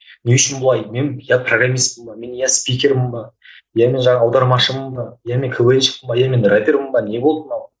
не үшін бұлай мен иә программистпін бе мен иә скипермін бе иә мен жаңағы аудармашымын ба иә мен квн щикпін бе иә мен рэпермін бе не болды мынау